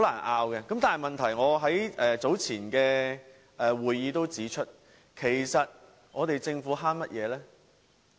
我在較早前的會議上也指出，其實政府在節省甚麼呢？